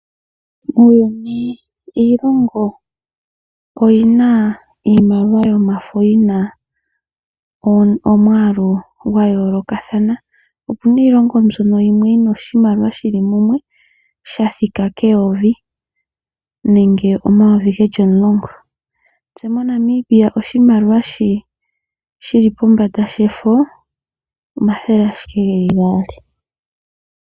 Muuyuni ,iilongo oyina iimaliwa yomafo omwalu gwa yoolokathana. opuna iilongo yimwe mbyoka yina oshimaliwa shili mumwe sha thika keyovi nenge omayovi geli omulongo. Tse moNamibia oshimaliwa shili pombanda shefo, omathele ashike geli gaali.